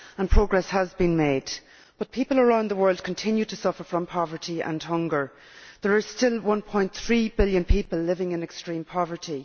Progress has been made, but people around the world continue to suffer from poverty and hunger. There are still 1.3 billion people living in extreme poverty.